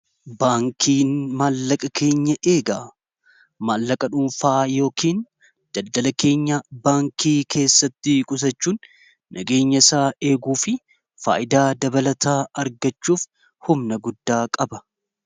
baankiin maallaqa keenya eegaa maallaqa dhuunfaa yookiin daddala keenya baankii keessatti qusachuun nageenya isaa eeguu fi faayidaa dabalataa argachuuf humna guddaa qaba